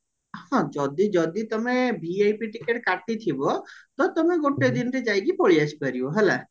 ହଁ ଯଦି ଯଦି ତମେ VIP ଟିକେଟ କାଟିଥିବ ତ ତମେ ଗୋଟେ ଦିନରେ ଯାଇକି ପଳେଇଆସି ପାରିବ ହେଲା